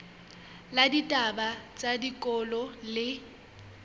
la ditaba tsa tikoloho le